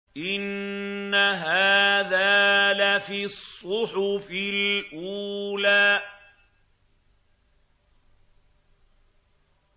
إِنَّ هَٰذَا لَفِي الصُّحُفِ الْأُولَىٰ